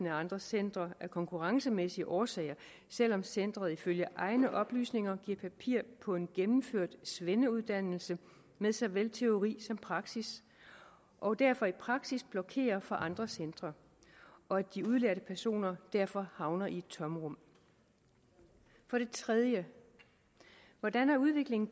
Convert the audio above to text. af andre centre af konkurrencemæssige årsager selv om centeret ifølge egne oplysninger giver papir på en gennemført svendeuddannelse med såvel teori som praksis og derfor i praksis blokerer for andre centre og at de udlærte personer derfor havner i et tomrum for det tredje hvordan har udviklingen